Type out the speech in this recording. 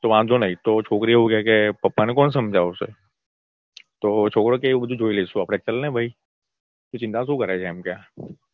તો વાંધો નહિ તો છોકરી એવું કે પપ્પાને પણ કોણ સમજાવશે તો છોકરો કે એ બધું જોઈ લઈશું આપડે. ચલને ભઈ તું ચિંતા શું કરે છે એમ કે